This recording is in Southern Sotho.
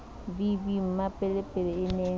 v v mmapelepele e ne